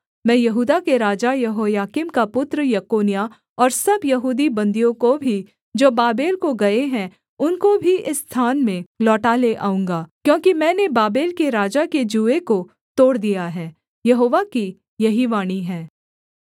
मैं यहूदा के राजा यहोयाकीम का पुत्र यकोन्याह और सब यहूदी बन्दियों को भी जो बाबेल को गए हैं उनको भी इस स्थान में लौटा ले आऊँगा क्योंकि मैंने बाबेल के राजा के जूए को तोड़ दिया है यहोवा की यही वाणी है